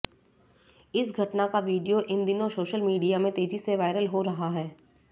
इस घटना का वीडियाे इन दिनाें साेशल मीडिया में तेजी से वायरल हाे रहा है